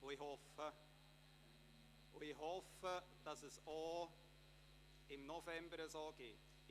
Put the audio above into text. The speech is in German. () Ich hoffe, dass es auch im November so ablaufen wird.